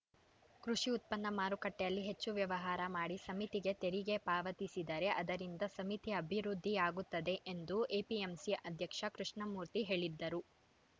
ಕೃಷಿ ಉತ್ಪನ್ನ ಮಾರುಕಟ್ಟೆಯಲ್ಲಿ ಹೆಚ್ಚು ವ್ಯವಹಾರ ಮಾಡಿ ಸಮಿತಿಗೆ ತೆರಿಗೆ ಪಾವತಿಸಿದರೆ ಅದರಿಂದ ಸಮಿತಿ ಅಭಿವೃದ್ಧಿಯಾಗುತ್ತದೆ ಎಂದು ಎಪಿಎಂಸಿ ಅಧ್ಯಕ್ಷ ಕೃಷ್ಣಮೂರ್ತಿ ಹೇಳಿದರು